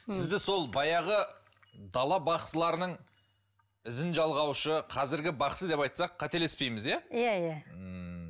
сізді сол баяғы дала бақсыларының ізін жалғаушы қазіргі бақсы деп айтсақ қателеспейміз иә иә иә ммм